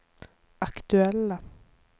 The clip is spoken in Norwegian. aktuelle